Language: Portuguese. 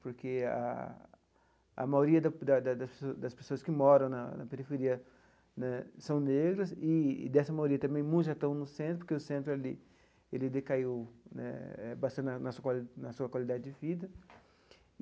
Porque a a maioria da da das pessoas das pessoas que moram na periferia né são negras, e dessa maioria também muitos já estão no centro, porque o centro ali, ele decaiu né bastante na na sua quali na sua qualidade de vida.